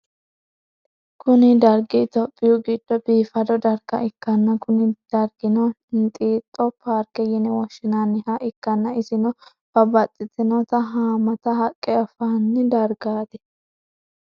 Kuni dargi ethiopiyu gido bifado darga ikana Kuni drigino inxixo parke yine woshinaniha ikana isino babaxitinoti hamata haqe afani dargati